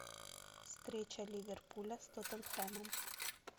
встреча ливерпуля с тоттенхэмом